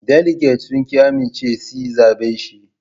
Daliget sun ƙi amincewa si zabe shi